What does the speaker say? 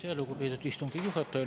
Aitäh, lugupeetud istungi juhataja!